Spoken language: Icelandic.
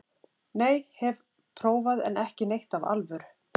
Nei, hef prófað en ekki neitt af alvöru.